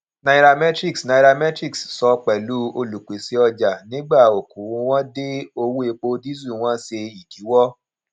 nairametrics nairametrics sọ pẹlú olupese ọjà nígbà okoowo wọn dé owó epo disu wọn ṣe idiwọ